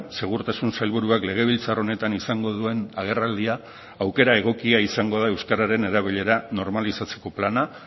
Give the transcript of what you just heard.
segurtasun sailburuak legebiltzar honetan izango duen agerraldia aukera egokia izango da euskararen erabilera normalizatzeko plana